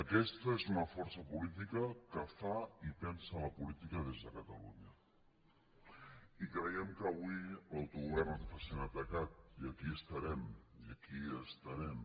aquesta és una força política que fa i pensa la política des de catalunya i creiem que avui l’autogovern se sent atacat i aquí estarem i aquí estarem